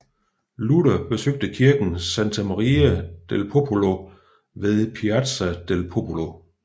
Luther besøgte kirken Santa Maria del Popolo ved Piazza del Popolo